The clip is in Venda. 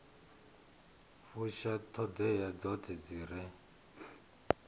fusha ṱhoḓea dzoṱhe dzi re